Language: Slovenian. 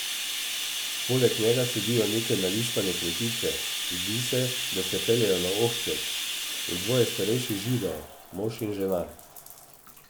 Poleg njega sedijo neke nališpane kmetice, zdi se, da se peljejo na ohcet, in dvoje starejših Židov, mož in žena.